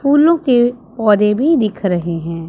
फूलों के पौधे भी दिख रहे हैं।